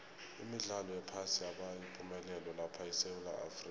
imidlalo yephasi yaba yipumelelo lapha esewula afrika